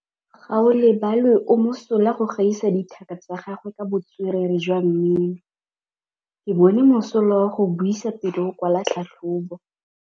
Gaolebalwe o mosola go gaisa dithaka tsa gagwe ka botswerere jwa mmino. Ke bone mosola wa go buisa pele o kwala tlhatlhobô.